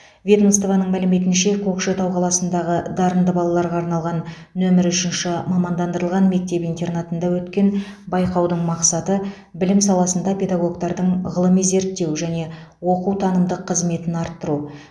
ведомствоның мәліметінше көкшетау қаласындағы дарынды балаларға арналған нөмірі үшінші мамандандырылған мектеп интернатында өткен байқаудың мақсаты білім саласында педагогтардың ғылыми зерттеу және оқу танымдық қызметін арттыру